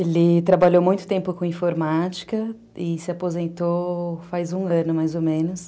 Ele trabalhou muito tempo com informática e se aposentou faz um ano, mais ou menos.